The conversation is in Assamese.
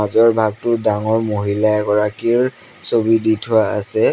ভাগটোত ডাঙৰ মহিলা এগৰাকীৰ ছবি দি থোৱা আছে।